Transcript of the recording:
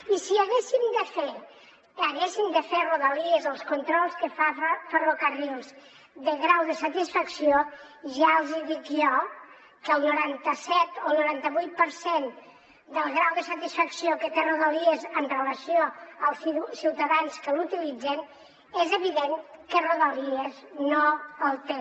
i si haguessin de fer a rodalies els controls que fa ferrocarrils de grau de satisfacció ja els hi dic jo que el noranta set o el noranta vuit per cent del grau de satisfacció que té ferrocarrils amb relació als ciutadans que l’utilitzen és evident que rodalies no el té